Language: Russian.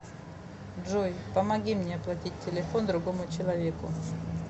джой помоги мне оплатить телефон другому человеку